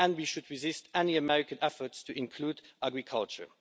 and we should resist any American effort to include agriculture.